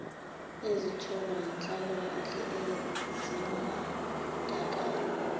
ezitholwa yinhlalakahle zimbandakanya